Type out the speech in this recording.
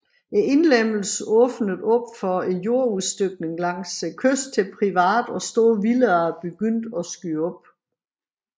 Indlemmelsen åbnede op for jordudstykning langs kysten til private og store villaer begyndte at skyde op